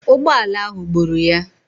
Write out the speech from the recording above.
Ụgbọala ahụ gburu ya.